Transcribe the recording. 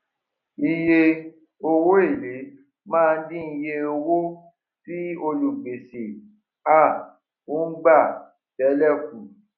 iye owó èlé máa ń dín iye owó tí olùgbèsè um ń gbà tẹlẹ kù